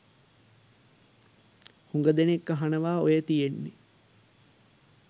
හුඟදෙනෙක් අහනවා ඔය තියෙන්නේ